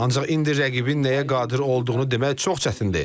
Ancaq indi rəqibin nəyə qadir olduğunu demək çox çətindir.